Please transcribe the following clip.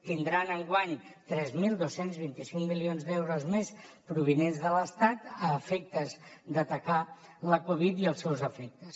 tindran enguany tres mil dos cents i vint cinc milions d’euros més provinents de l’estat a efectes d’atacar la covid i els seus efectes